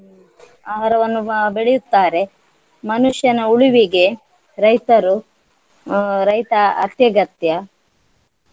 ಹ್ಮ್ ಆಹಾರವನ್ನು ಬ~ ಬೆಳೆಯುತ್ತಾರೆ ಮನುಷ್ಯನ ಉಳಿವಿಗೆ ರೈತರು ಆಹ್ ರೈತ ಅತ್ಯಗತ್ಯ.